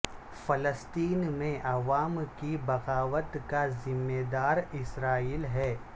فلسطین میں عوام کی بغاوت کا ذمہ دار اسرائیل ہے